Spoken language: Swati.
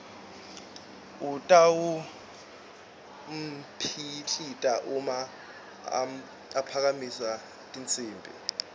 utawupitila uma aphakamisa tinsimbi